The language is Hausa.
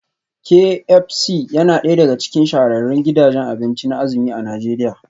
Kay Ep C yana daya daga cikin shahararrun gidajen abinci na azumi a Najeriya